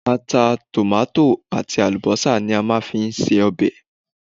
Ata, Tòmáàtì àti àlùbọ́sà ni a máa ń fi ń se ọbẹ̀.